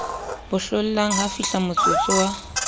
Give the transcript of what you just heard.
bo hlollang ha fihlamotsotso wa